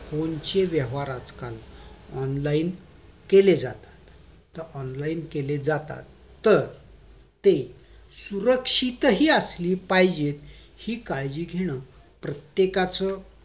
phone चे व्यवहार आजकाल online केले जातात online केले जातात तर ते सुरक्षित हि असले पाहिजेत हि काळजी घेणं प्रत्येकाचं